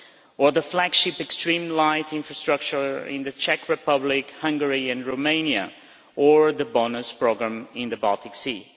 or the flagship Extreme Light Infrastructure in the Czech Republic, Hungary and Romania, or the BONUS programme in the Baltic Sea.